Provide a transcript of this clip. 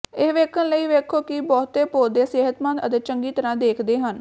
ਇਹ ਵੇਖਣ ਲਈ ਵੇਖੋ ਕਿ ਬਹੁਤੇ ਪੌਦੇ ਸਿਹਤਮੰਦ ਅਤੇ ਚੰਗੀ ਤਰ੍ਹਾਂ ਦੇਖਦੇ ਹਨ